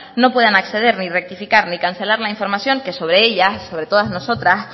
no puedan acceder ni rectificar ni cancelar la información que sobre ella sobre todas nosotras